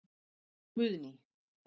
Guðný